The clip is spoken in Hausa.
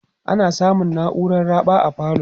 ana samun nauran raɓa a falo